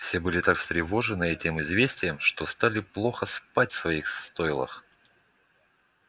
все были так встревожены этим известием что стали плохо спать в своих стойлах